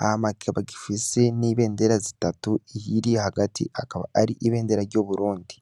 Hama kikaba gifise n' ibendera zitatu iyiri hagati akaba ari ibendera y’igihugu c' Uburundi.